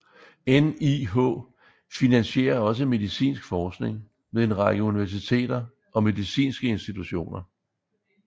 NIH finansierer også medicinsk forskning ved en række universiteter og medicinske institutioner